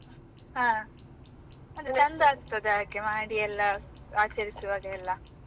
ಹಾ, ಅದು ಚಂದ ಆಗ್ತದೆ ಹಾಗೆ ಮಾಡಿ ಎಲ್ಲ ಆಚರಿಸುವಾಗ ಎಲ್ಲ.